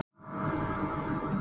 Hann lokaði augunum.